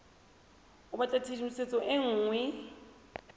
o batla tshedimosetso e nngwe